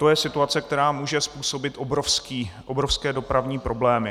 To je situace, která může způsobit obrovské dopravní problémy.